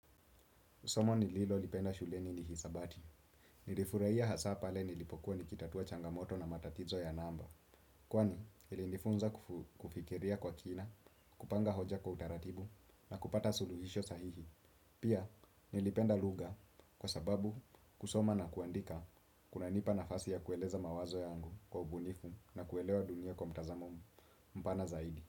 Somo nililolipenda shuleni ni hisabati. Nilifuraia hasaa pale nilipokuwa nikitatua changamoto na matatizo ya namba. Kwani, ilinifunza kufikiria kwa kina, kupanga hoja kwa utaratibu, na kupata suluhisho sahihi. Pia, nilipenda luga kwa sababu kusoma na kuandika kunanipa nafasi ya kueleza mawazo yangu kwa ubunifu na kuelewa dunia kwa mtazamo mu. Mpana zaidi.